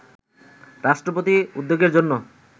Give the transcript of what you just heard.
রাষ্ট্রপতির উদ্যোগের জন্য